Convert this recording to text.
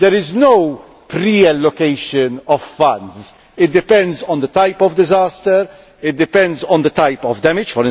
There is no pre allocation of funds. It depends on the type of disaster it depends on the type of damage.